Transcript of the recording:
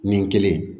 Nin kelen